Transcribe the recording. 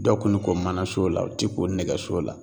Dɔ kun ne ko manaso la u tɛ ko nɛgɛso la